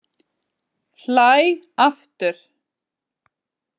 Hlæ aftur.